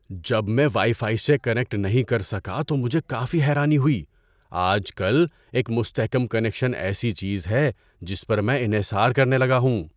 جب میں wifi سے کنیکٹ نہیں کر سکا تو مجھے کافی حیرانی ہوئی۔ آج کل، ایک مستحکم کنکشن ایسی چیز ہے جس پر میں انحصار کرنے لگا ہوں۔